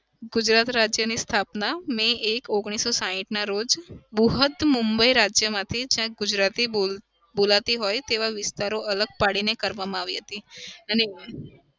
ગુજરાત રાજ્યની સ્થાપના may એક ઓગણીસો સાહીઠ ના રોજ મુબઈ રાજ્ય ગુજરાતી બોલાતી હોય તેવા વિસ્તારો અલગ પાડીને કરવામાં આવી હતી અને